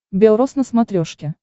бел роз на смотрешке